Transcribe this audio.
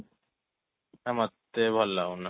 ଅ ମତେ ଭଲ ଲାଗୁନି